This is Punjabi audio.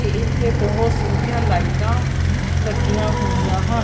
ਤੇ ਇੱਥੇ ਬਹੁਤ ਸੋਹਣੀਆਂ ਲਾਈਟਾਂ ਲੱਗੀਆਂ ਹੋਈਆਂ ਹਨ।